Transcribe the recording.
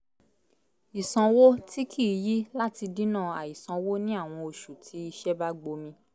ìsànwo tí kì í yí láti dínà àì sanwó ní àwọn oṣù tí iṣẹ́ bá gbomi